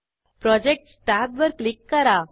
Projectsटॅब वर क्लिक करा